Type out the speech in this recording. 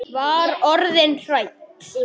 Var orðin hrædd!